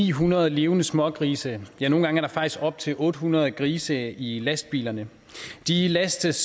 ni hundrede levende smågrise ja nogle gange er der faktisk op til otte hundrede grise i lastbilerne de lastes